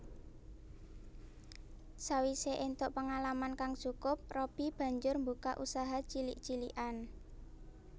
Sawisé éntuk pengalaman kang cukup Robby banjur mbukak usaha cilik cilikan